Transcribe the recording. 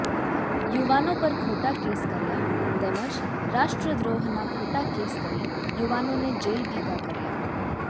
યુવાનો પર ખોટા કેસ કર્યા તેમજ રાષ્ટ્રદ્રોહનાં ખોટા કેસ કરી યુવાનોને જેલ ભેગા કર્યા